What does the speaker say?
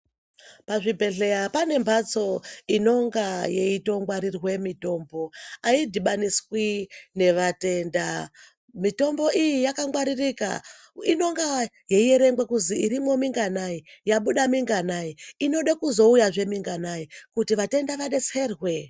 Pazvibhedhleya pane mbatso inonga yeitongwarirwe mitombo, aidhibaniswi nevatenda. Mitombo iyi yakangwaririka, inonga yeierengwa kuzi irimwo minganai, yabuda minganai, inode kuzouyazve minganai kuti vatenda vadetserwe.